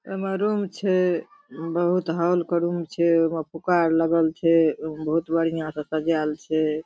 ओय मे रूम छै बहुत हॉल के रूम छै ओय मे फूका आर लगल छै ओय मे बहुत बढ़िया से सजाएल छै